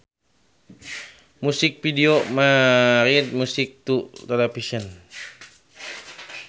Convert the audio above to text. Music videos married music to television